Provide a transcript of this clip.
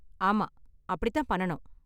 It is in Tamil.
ஆமா அப்படி தான் பண்ணனும்.